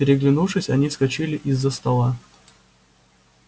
переглянувшись они вскочили из-за стола